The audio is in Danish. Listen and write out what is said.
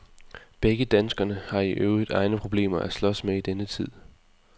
Begge danskerne har i øvrigt egne problemer at slås med i denne tid.